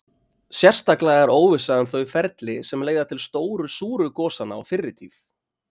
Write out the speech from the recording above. Sérstaklega er óvissa um þau ferli sem leiða til stóru súru gosanna á fyrri tíð.